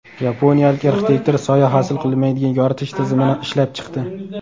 Yaponiyalik arxitektor soya hosil qilmaydigan yoritish tizimini ishlab chiqdi.